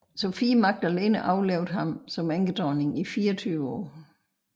Sophie Magdalene overlevede ham som enkedronning i 24 år